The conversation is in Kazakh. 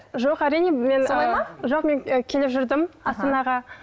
жоқ әрине мен солай ма жоқ мен келіп жүрдім астанаға